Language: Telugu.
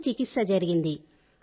మంచి చికిత్స జరిగింది